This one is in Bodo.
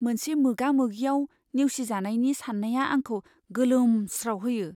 मोनसे मोगा मोगिआव नेवसिजानायनि सान्नाया आंखौ गोलोमस्रावहोयो।